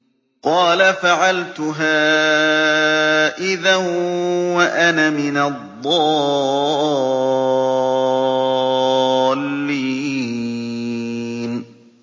قَالَ فَعَلْتُهَا إِذًا وَأَنَا مِنَ الضَّالِّينَ